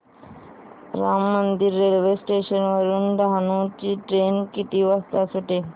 Ram Mandir railway station वरुन डहाणू ची train किती वाजता सुटेल